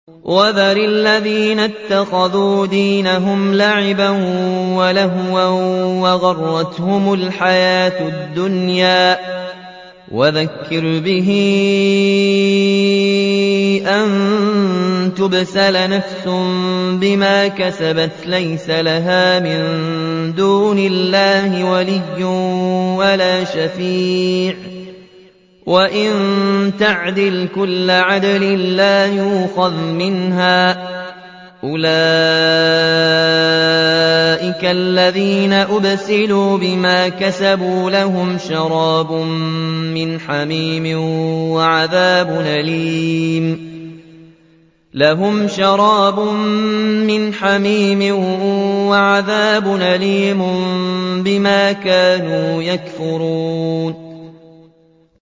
وَذَرِ الَّذِينَ اتَّخَذُوا دِينَهُمْ لَعِبًا وَلَهْوًا وَغَرَّتْهُمُ الْحَيَاةُ الدُّنْيَا ۚ وَذَكِّرْ بِهِ أَن تُبْسَلَ نَفْسٌ بِمَا كَسَبَتْ لَيْسَ لَهَا مِن دُونِ اللَّهِ وَلِيٌّ وَلَا شَفِيعٌ وَإِن تَعْدِلْ كُلَّ عَدْلٍ لَّا يُؤْخَذْ مِنْهَا ۗ أُولَٰئِكَ الَّذِينَ أُبْسِلُوا بِمَا كَسَبُوا ۖ لَهُمْ شَرَابٌ مِّنْ حَمِيمٍ وَعَذَابٌ أَلِيمٌ بِمَا كَانُوا يَكْفُرُونَ